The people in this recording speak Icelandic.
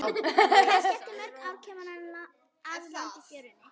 Kannski eftir mörg ár rekur hana að landi í fjörunni.